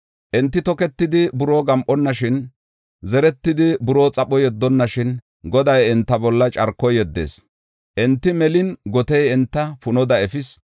Enti toketidi buroo gam7onnashin, zeretidi buroo xapho yeddonnashin, Goday enta bolla carko yeddis; enti melin gotey enta punoda efis.